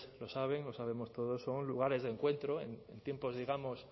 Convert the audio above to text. lo saben lo sabemos todos son lugares de encuentro en tiempos digamos